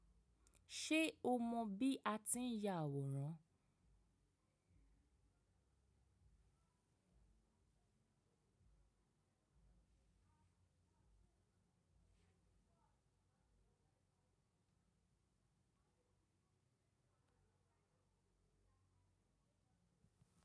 Ṣé o mọ bí a ti ń ya àwòrán?